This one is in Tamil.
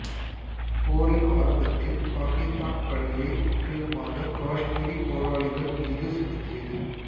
போரின் ஆரம்பத்தில் பாகிஸ்தான் பழியை முற்றிலுமாக காஷ்மீரி போராளிகள் மீது சுமத்தியது